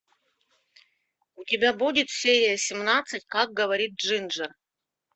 у тебя будет серия семнадцать как говорит джинджер